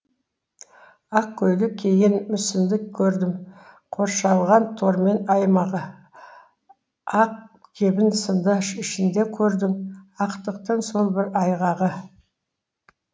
ақ көйлек киген мүсінді көрдім қоршалған тормен аймағы ақ кебін сынды ішінде көрдің ақтықтың сол бір айғағы